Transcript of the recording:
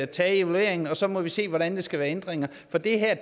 taget evalueringen og så må vi se hvordan der skal være ændringer for det her